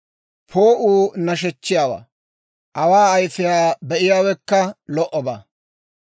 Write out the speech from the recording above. Poo'uu nashechchiyaawaa. Awa ayifiyaa be'iyaawekka lo"obaa.